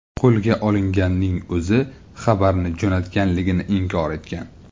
Qo‘lga olinganning o‘zi xabarni jo‘natganligini inkor etgan.